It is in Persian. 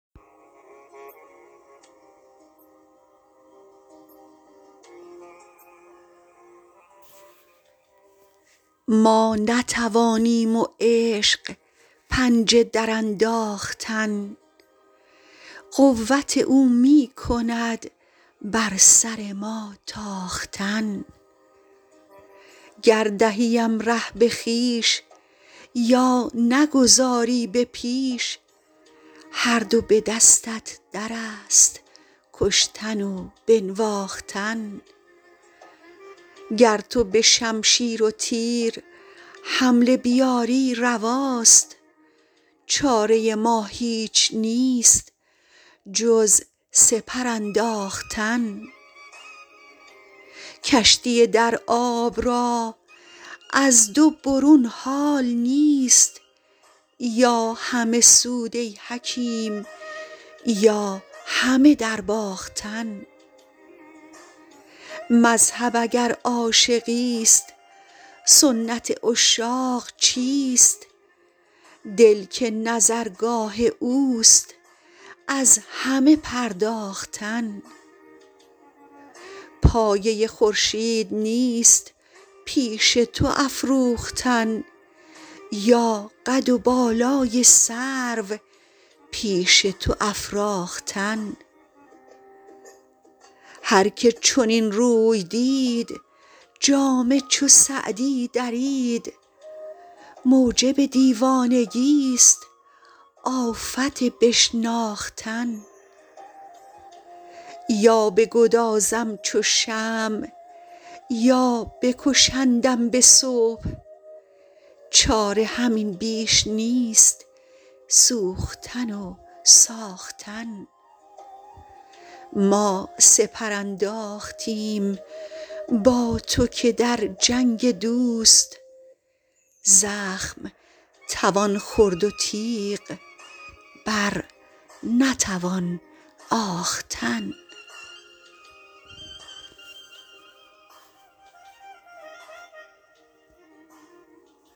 ما نتوانیم و عشق پنجه درانداختن قوت او می کند بر سر ما تاختن گر دهیم ره به خویش یا نگذاری به پیش هر دو به دستت در است کشتن و بنواختن گر تو به شمشیر و تیر حمله بیاری رواست چاره ما هیچ نیست جز سپر انداختن کشتی در آب را از دو برون حال نیست یا همه سود ای حکیم یا همه درباختن مذهب اگر عاشقیست سنت عشاق چیست دل که نظرگاه اوست از همه پرداختن پایه خورشید نیست پیش تو افروختن یا قد و بالای سرو پیش تو افراختن هر که چنین روی دید جامه چو سعدی درید موجب دیوانگیست آفت بشناختن یا بگدازم چو شمع یا بکشندم به صبح چاره همین بیش نیست سوختن و ساختن ما سپر انداختیم با تو که در جنگ دوست زخم توان خورد و تیغ بر نتوان آختن